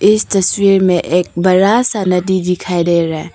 इस तस्वीर में एक बड़ा सा नदी दिखाई दे रहा है।